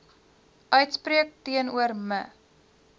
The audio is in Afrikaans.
uitspreek teenoor me